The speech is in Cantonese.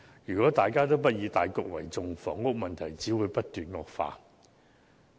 如果大家不以大局為重，房屋問題只會不斷惡化。